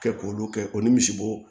Kɛ k'olu kɛ k'o ni misibo